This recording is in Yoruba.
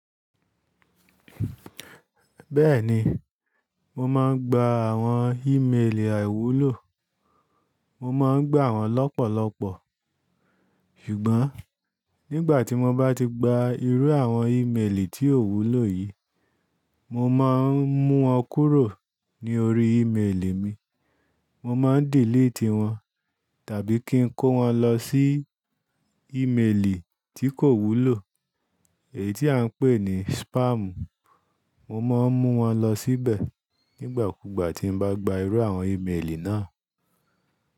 Bẹ́ẹ̀ni, mo máa ń gba àwọn ímeèlì àìwúlò. Mo máa ń gbà wọ́n lọ́pọ̀lọpọ̀. Ṣùgbọ́n nígbà tí mo bá ti gba irú àwọń ímeèlì tí ò wúlò yìí, mo máa ń mú wọn kúrò ní orí ímeèlì mi, mo máa ń dìlíìtì wọ́n tàbí kí ń kó wọ́n lọ sí ímeèlì tí kò wúlò, èyí tí à ń pè ní spáàmù. Mo máa ń mú wọn lọ síbẹ̀ nígbàkugbà tí n bá gba irú àwọń ímeèlì náà.